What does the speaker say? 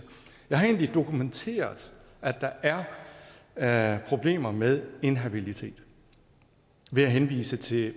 jeg har egentlig dokumenteret at der er er problemer med inhabilitet ved at henvise til